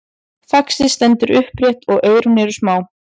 faxið stendur upprétt og eyrun eru smá